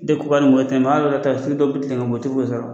takisi dɔ bɛ tilen ka mɔgɔtigiw sira la